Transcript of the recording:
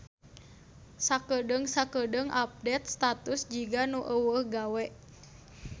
Sakedeung-sakeudeung update status jiga nu euweuh gawe